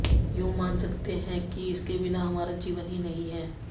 यूं मान सकते है कि इसके बिना हमारा जीवन ही नहीं है